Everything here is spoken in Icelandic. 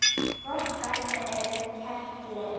Gott dæmi er Keilir.